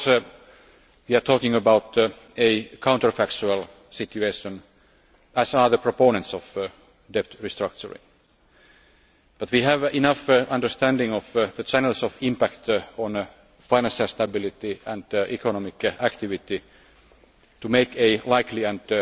Of course, we are talking about a counterfactual situation, as are the proponents of debt restructuring, but we have enough understanding of the channels of impact on financial stability and economic activity to make a likely